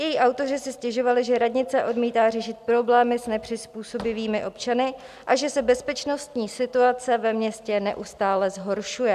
Její autoři si stěžovali, že radnice odmítá řešit problémy s nepřizpůsobivými občany a že se bezpečnostní situace ve městě neustále zhoršuje.